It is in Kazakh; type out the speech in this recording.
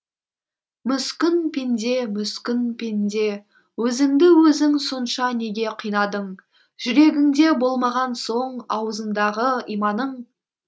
мүскін пенде мүскін пенде өзіңді өзің сонша неге қинадың жүрегіңде болмаған соң аузыңдағы иманың